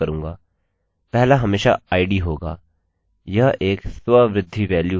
यह एक स्ववृद्धि वेल्यू है हर बार मैं एक नया रिकॉर्ड बनाता हूँ